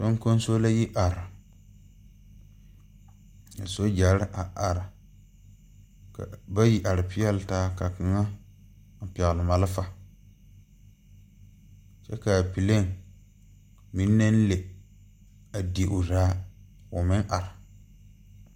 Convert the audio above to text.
Soŋkoŋso la yi are ka Sogyɛre a are bayi are peɛle taa ka kaŋa pɛgle malfa kyɛ kaa plane meŋ naŋ le a di o zaa ko meŋ are.